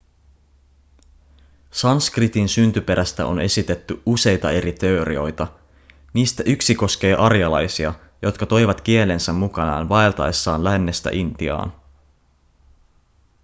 sanskritin syntyperästä on esitetty useita eri teorioita niistä yksi koskee arjalaisia jotka toivat kielensä mukanaan vaeltaessaan lännestä intiaan